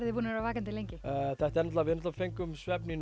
þið búin að vaka lengi við fengum svefn í